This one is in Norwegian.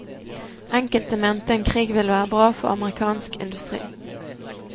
Enkelte mente en krig ville være bra for amerikansk industri.